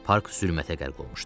Park zülmətə qərq olmuşdu.